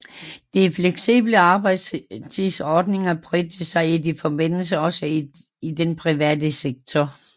De fleksible arbejdstidsordninger bredte sig i den forbindelse også til den private sektor